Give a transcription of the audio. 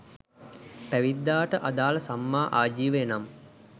පැවිද්දාට අදාළ සම්මා ආජීවය නම්